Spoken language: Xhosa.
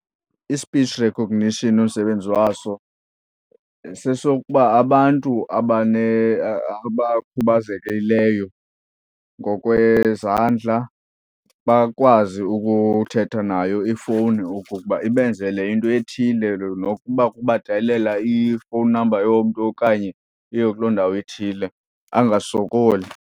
I-speech recognition umsebenzi waso sesokuba abantu abakhubazekileyo ngokwezandla bakwazi ukuthetha nayo ifowuni okokuba ibenzele into ethile. Nokuba kubadayalela i-phone number yomntu okanye kuyiwe kuloo ndawo ithile, angasokoli.